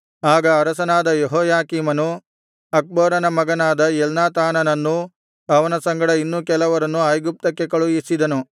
ಆಗ ಅರಸನಾದ ಯೆಹೋಯಾಕೀಮನು ಅಕ್ಬೋರನ ಮಗನಾದ ಎಲ್ನಾಥಾನನನ್ನೂ ಅವನ ಸಂಗಡ ಇನ್ನು ಕೆಲವರನ್ನೂ ಐಗುಪ್ತಕ್ಕೆ ಕಳುಹಿಸಿದನು